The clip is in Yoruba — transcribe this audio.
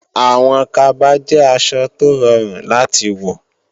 Àwọn kaba jẹ́ aṣọ tó rọrùn láti wọ